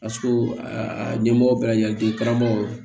ɲɛmɔgɔ bɛɛ lajɛlen karamɔgɔ